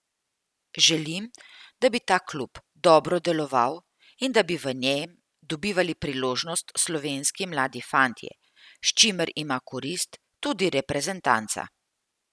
Želim, da bi ta klub dobro deloval in da bi v njem dobivali priložnost slovenski mladi fantje, s čimer ima korist tudi reprezentanca.